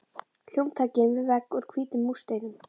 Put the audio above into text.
Hljómtækin við vegg úr hvítum múrsteinum.